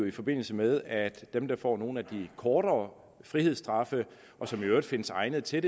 i forbindelse med at dem der får nogle af de kortere frihedsstraffe og som i øvrigt findes egnede til